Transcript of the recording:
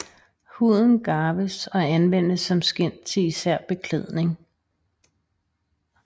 Huden garves og anvendes som skind til især beklædning